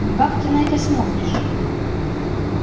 ну как ты на это смотришь